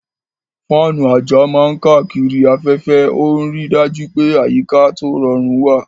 Fáànù àjà máa ń káàkiri afẹ́fẹ́, ó ń rí i dájú pé àyíká tó rọrùn wà.